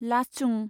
लाचुं